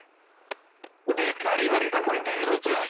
ଗୋଟେ ପାରିବାରିକ content ରହୁଥିଲା